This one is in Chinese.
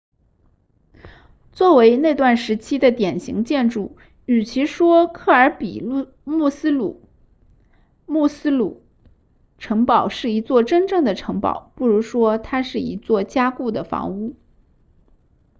作为那段时期的典型建筑与其说克尔比墨斯鲁 muxloe 城堡是一座真正的城堡不如说它是一座加固的房屋